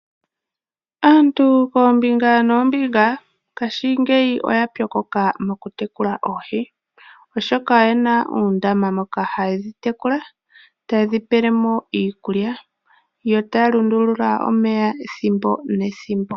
Aantu koombinga noombinga ngaashingeyi oya pyokoka okutekula oohi, oshoka oyena uundama mboka haye dhi tekula, taye dhi pele mo iikulya yo taya lundulula omeya ethimbo nethimbo.